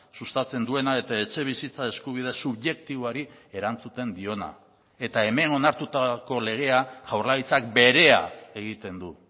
sustatzen duena eta etxebizitza eskubide subjektiboari erantzuten diona eta hemen onartutako legea jaurlaritzak berea egiten du